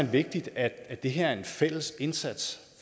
vigtigt at det her er en fælles indsats